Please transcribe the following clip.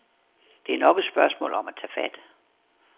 Der er nok af spørgsmål at tage fat på.